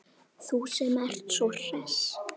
Þú sem ert svo hress!